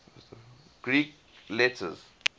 greek letters